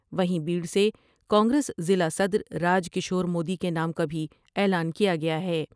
وہیں بیڑ سے کانگریس ضلع صدر راج کشور مودی کے نام کا بھی اعلان کیا گیا ہے ۔